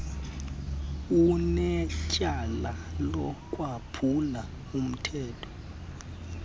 unetyala lokwaphula umthetho